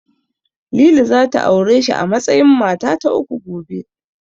Lili zata aure shi a matsayin mata ta uku, gobe.